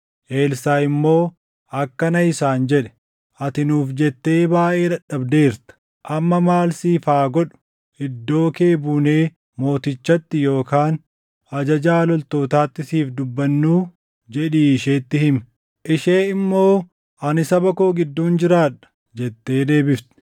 Elsaaʼi immoo akkana isaan jedhe; “ ‘Ati nuuf jettee baayʼee dadhabdeerta. Amma maal siif haa godhu? Iddoo kee buunee mootichatti yookaan ajajaa loltootaatti siif dubbannuu?’ jedhii isheetti himi.” Ishee immoo, “Ani saba koo gidduun jiraadha” jettee deebifte.